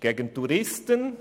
Gegen Touristen?